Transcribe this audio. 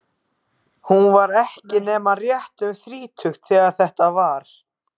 Hún var ekki nema rétt um þrítugt þegar þetta var.